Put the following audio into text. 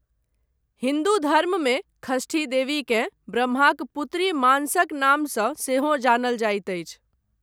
हिन्दू धर्ममे षष्ठी देवीकेँ ब्रह्माक पुत्री मानसक नामसँ सेहो जानल जाइत अछि।